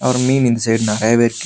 அப்றோ மீன் இந்த சைடு நெறையாவே இருக்கு.